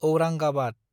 Aurangabad